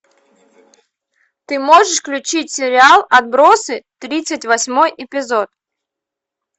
ты можешь включить сериал отбросы тридцать восьмой эпизод